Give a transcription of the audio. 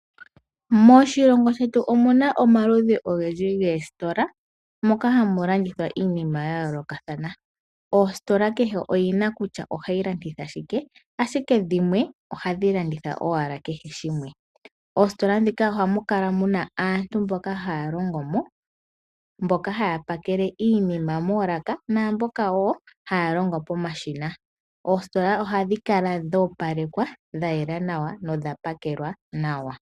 Moshilongo shetu omuna omaludhi ogendji goositola moka gamu landithwa iinima ya yoolokathana . Ositola kehe oyina kutya ohayi landitha shike ,ashike dhimwe ohadhi landitha owala kehe shimwe. Moositola ndhika ohamukala muna aantu mboka haya longo mo ,mboka haya pakele iinima moolaka naamboka woo haya longo pomashina . Oositola ohadhi kala dho opalekwa dha yela nawa nodha pakelwa nawa.